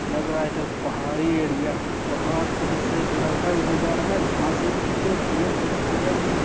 लग रहा है इधर पहाड़ी एरिया है पहाड़ एक जेसे एक लड़का उधर जा रहा है घासे बोहुत है पेड़ बोहुत लगा हुआ है।